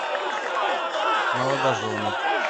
молодожены